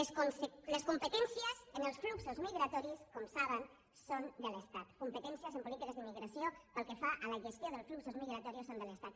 les competències en els fluxos migratoris com saben són de l’estat compe·tències en polítiques d’immigració pel que fa a la gestió dels fluxos migratoris són de l’estat